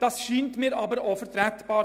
Das scheint mir aber vertretbar.